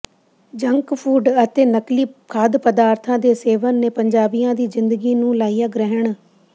junk food ਅਤੇ ਨਕਲੀ ਖਾਦ ਪਦਾਰਥਾਂ ਦੇ ਸੇਵਨ ਨੇ ਪੰਜਾਬੀਆਂ ਦੀ ਜ਼ਿੰਦਗੀ ਨੂੰ ਲਾਇਆ ਗ੍ਰਹਿਣ